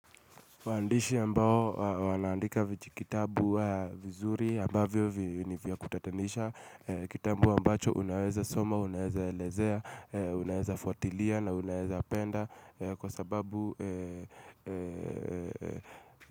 Waandishi ambao wanaandika vichikitabu vizuri, ambavyo vini vya kutatanisha. Kitabu ambacho unaweza soma, unaweza elezea, unaweza fuatilia na unaweza penda. Kwa sababu.